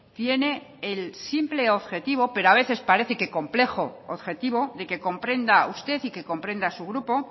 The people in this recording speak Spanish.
tiene el simple objetivo pero a veces parece que complejo objetivo de que comprenda usted y que comprenda su grupo